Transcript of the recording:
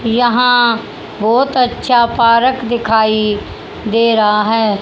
यहां बहोत अच्छा पार्क दिखाई दे रहा है।